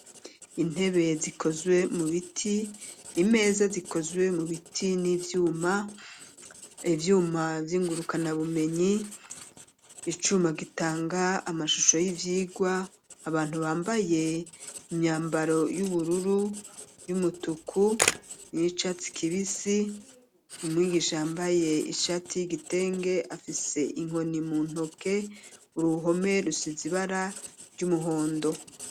Intebe, zikozwe mu biti, imeza, zikozwe mu biti n'ivyuma; ivyuma vy'ingurukanabumenyi, icuma, gitanga amashusho y'ivyigwa, abantu, bambaye imyambaro, y'ubururu, y'umutuku, n'iy'icatsi kibisi; umwigisha, yambaye ishati y'igitenge, afise inkoni mu ntoke; uruhome rusize ibara ry'umuhondo.